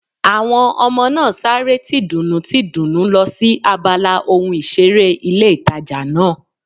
Àwọn ọmọ náà sáré tìdùnnú tìdùnnú lọ sí abala ohun ìseré ilé ìtajà náà